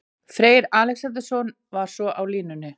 Freyr Alexandersson var svo á línunni.